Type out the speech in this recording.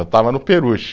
Eu estava no peruche.